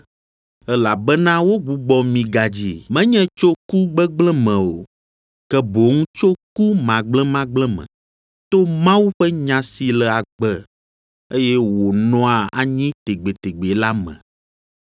Elabena wogbugbɔ mi gadzi, menye tso ku gbegblẽ me o, ke boŋ tso ku magblẽmagblẽ me, to Mawu ƒe nya si le agbe, eye wònɔa anyi tegbetegbe la me.